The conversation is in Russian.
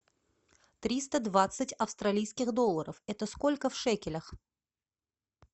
триста двадцать австралийских долларов это сколько в шекелях